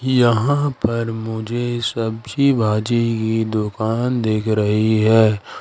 यहां पर मुझे सब्जी भाजी की दुकान दिख रही है।